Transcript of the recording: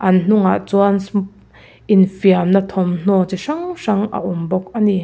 an hnungah chuan infiamna thawmhnaw chi hrang hrang a awm bawk a ni.